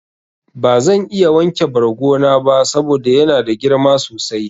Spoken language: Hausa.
Bazan iya wanke bargo na ba saboda yana da girma sosai.